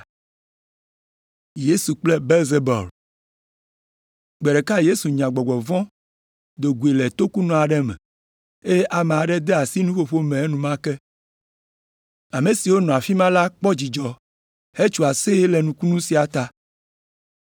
Gbe ɖeka Yesu nya gbɔgbɔ vɔ̃ do goe le tokunɔ aɖe me, eye amea de asi nuƒoƒo me enumake. Ame siwo nɔ afi ma la kpɔ dzidzɔ hetso aseye le nukunu sia ta.